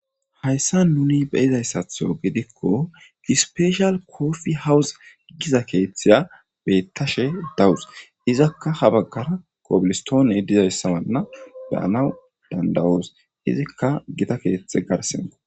Hayssan nuuni be'zaytho gidikko ispeeshal koopiy hawozi gida keeththiya beetashe dawus. Izakka ha bagara kobilistoone daanaw danda'us. Izikka gita keethe garssenkko.